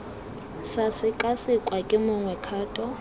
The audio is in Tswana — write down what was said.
sa sekasekwa ke mongwe kgato